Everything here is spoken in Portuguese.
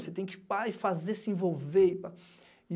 Você tem que pá, ir e fazer, se envolver, e pá. E